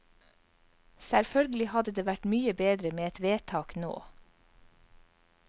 Selvfølgelig hadde det vært mye bedre med et vedtak nå.